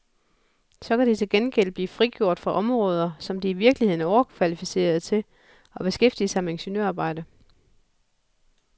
Så kan de til gengæld blive frigjort fra områder, som de i virkeligheden er overkvalificerede til, og beskæftige sig med ingeniørarbejde.